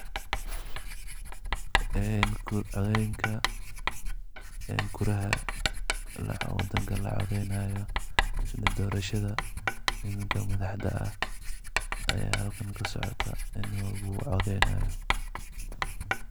Ee kor cotheyntaa ee kuaraha la cutheynayo oo barashada nimanga madaxda aah Aya halkani kasocatah oo lagu cutheynayo.